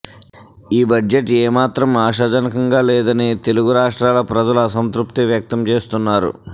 ఈ బడ్జెట్ ఏమాత్రం ఆశాజనకంగా లేదని తెలుగు రాష్ట్రాల ప్రజలు అసంతృప్తి వ్యక్తం చేస్తున్నారు